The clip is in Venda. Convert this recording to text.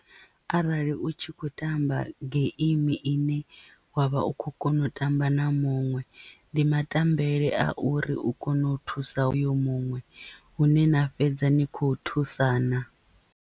Arali u tshi khou tamba geimi ine wavha u kho kona u tamba na muṅwe ndi matambele a uri u kone u thusa oyo muṅwe hune na fhedza ni khou thusana.